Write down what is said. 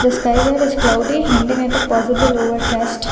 The sky here is cloudy hinting at a possible overcast.